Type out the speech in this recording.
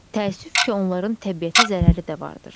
Təəssüf ki, onların təbiətə zərəri də vardır.